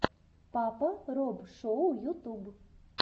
папа роб шоу ютуб